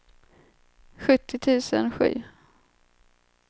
sjuttio tusen sju